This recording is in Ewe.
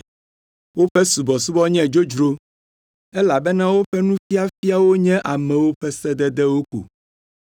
Woƒe subɔsubɔ nye dzodzro, elabena woƒe nufiafiawo nye amewo ƒe sededewo ko.’